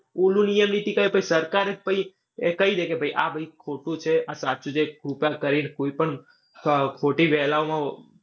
ઓલો નિયમ નીતિ પછી સરકાર જ કહીદે કે ભાઈ આ ખોટું છે આ સાચું છે. કૃપા કરીને કોઈ પણ ફ ખોટી ફેલાવામાં